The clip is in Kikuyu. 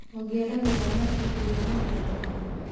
ũngĩenda gũthoma ibuku rĩa mũthemba ũrĩkũ?